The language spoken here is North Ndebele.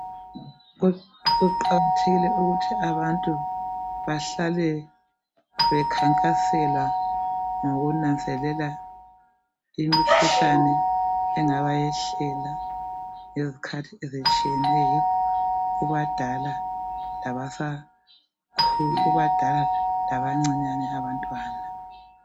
Kuqakathekile ukuthi abantu bahlale bekhankasela ngokunanzelela imikhuhlane engabayehlela ngezikhathi ezitshiyeneyo kubadala labancinyane abantwana.